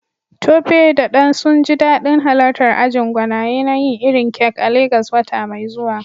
Tope da Dan sun ji dadin halartar ajin gwanaye na yin irin kek a Legas wata mai zuwa.